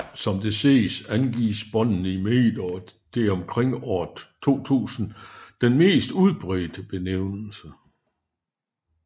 Som det ses angives båndene i meter og det er omkring år 2000 den mest udbredte benævnelse